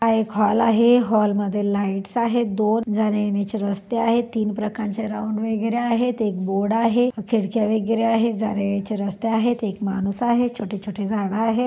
हा एक हॉल आहे हॉल मध्ये लाइट्स आहेत दोन जाण्यायेण्याची रस्ते आहेत तीन प्रकारचे राऊंड वगैरे आहेत. एक बोर्ड आहे. खिडक्या वगैरे आहेत. जाण्यायेण्याची रस्ते आहेत एक माणूस आहे. छोटे छोटे झाड आहेत.